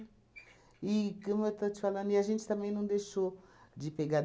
E, como eu estou te falando e a gente também não deixou de pegar.